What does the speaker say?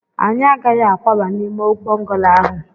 anyị agaghị akwaba n'ime bọngalo ahụ